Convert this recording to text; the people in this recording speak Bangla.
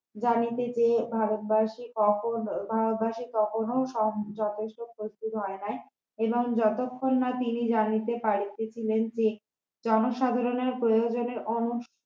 জানিতে চেয়ে ভারতবাসী ভারতবাসী তখনো যথেষ্ট প্রস্তুত হয় নাই এবং যতক্ষণ না তিনি জানিতে পারিতেছিলেন যে জনসাধারণের প্রয়োজনের অন্য